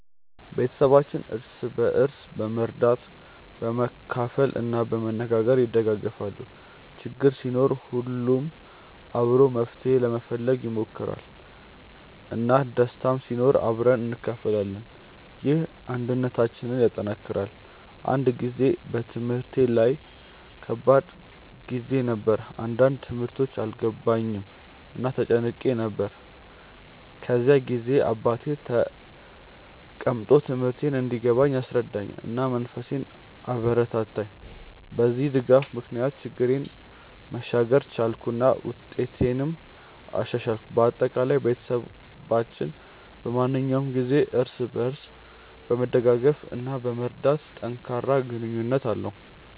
ቤተሰባችን እርስ በርስ በመርዳት፣ በመካፈል እና በመነጋገር ይደጋገፋል። ችግር ሲኖር ሁሉም አብሮ መፍትሄ ለመፈለግ ይሞክራል፣ እና ደስታም ሲኖር አብረን እንካፈላለን። ይህ አንድነታችንን ያጠናክራል። አንድ ጊዜ በትምህርቴ ላይ ከባድ ጊዜ ነበር፣ አንዳንድ ትምህርቶች አልገባኝም እና ተጨንቄ ነበር። በዚያ ጊዜ አባቴ ተቀምጦ ትምህርቴን እንዲገባኝ አስረዳኝ፣ እና መንፈሴን አበረታታኝ። በዚህ ድጋፍ ምክንያት ችግሬን መሻገር ቻልኩ እና ውጤቴንም አሻሻልኩ። በአጠቃላይ፣ ቤተሰባችን በማንኛውም ጊዜ እርስ በርስ በመደገፍ እና በመርዳት ጠንካራ ግንኙነት አለው።